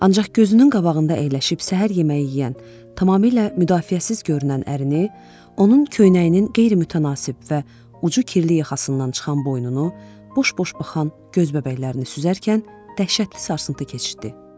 Ancaq gözünün qabağında əyləşib səhər yeməyi yeyən, tamamilə müdafiəsiz görünən ərini, onun köynəyinin qeyri-mütənasib və ucu kirli yaxasından çıxan boynunu, boş-boş baxan göz bəbəklərini süzərkən dəhşətli sarsıntı keçirtdi.